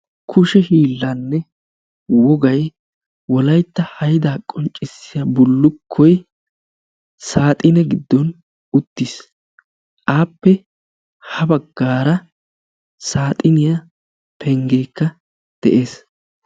kushe hiillaanne wogay wolaytta haydaa qonccissiya bullukkoy saaxine giddon uttiis appe ha baggaara saaxiniya penggeekka de'ees.